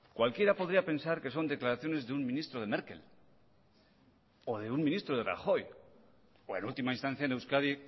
cualquiera podría pensar que son declaraciones de un ministro de merkel o de un ministro de rajoy o en última instancia en euskadi